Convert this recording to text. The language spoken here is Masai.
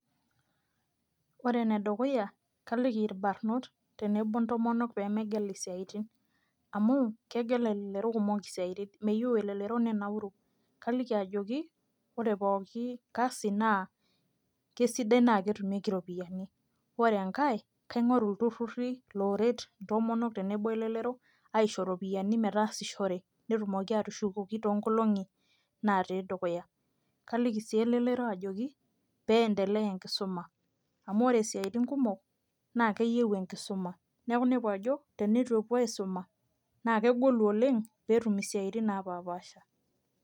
Ore ene dukuya kaliki irbarrnot tenebo ontomonok pee megel isiaitin amu kegel elelero kumok isiaitin meyieu elelero nenauru kaliki ajoki ore pooki kasi kesidai naa ketumieki iropiyiani ore enkae naa kaing'oru ilturruri ooret intomonok tenebo olelero aisho iropiyiani metaasishore pee etumoki aatushukoki toonkolong'i naatii dukuya kaliki sii elelero ajoki pee iendelea enkisuma amu ore isiaitin kumok naa keyieu enkisuma neeku inepu ajo tenitu epuo aisuma naa kegolu oleng' pee etum isiatin naapaapasha.